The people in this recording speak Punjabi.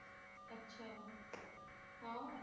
ਅੱਛਾ ਹਾਂ